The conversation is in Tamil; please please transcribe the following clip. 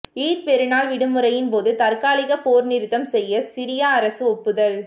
ஈத் பெருநாள் விடுமுறையின்போது தற்காலிக போர்நிறுத்தம் செய்ய சிரிய அரசு ஒப்புதல்